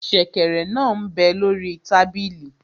Sẹ̀kẹ̀rẹ̀ náà m bẹ lórí tábìlì